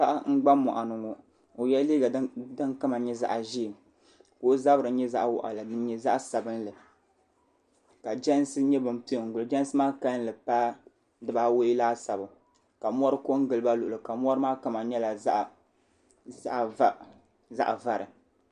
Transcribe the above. Paɣa n gba mɔɣu ni ŋɔ o yɛla liiga din kama yɛ zaɣi ʒee ka o zabiri yɛ zaɣi waɣila nyɛ zaɣi sabinli ka jɛnsi yɛ ban piɛ n gili o jɛnsi maa kanli paai bibi awɔi laasabu ka mori ko n-gili ba luɣuli kam mori ko n-gili ba luɣuli kam mori maa kama nyɛla zaɣi vakaha